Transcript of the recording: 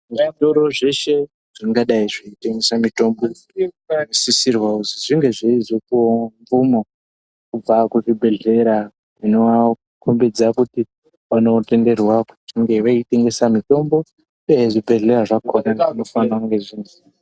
Muzvitoro zveshe zvingadai zveiyengesa mitombo zvinosisirwa kuzi zvinge zveizopuwawo mvumo kubva kuzvibhedhlera zvinovakombidza kuti vanotenderwa kunge veitengesa mitombo .... zvibhodhlera zvakona zvinofanira kunge zvine.